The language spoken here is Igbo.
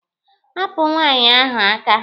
Hapụ nwaanyị ahụ aka!